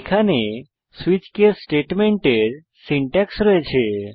এখানে switch case স্টেটমেন্টের syntax রয়েছে